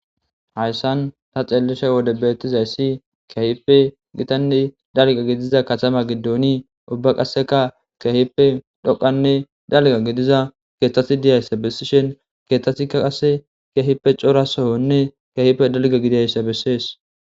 Hayssan ta xeellishe wode beettizayssi keehippe gitanne dalgga gidiza katama giddoni qassekka keehippe dhoqqane dalgga gidiza keethata bessishe keethatikka qasse keehippe cora sooone keehippe dalgga gididayssa besees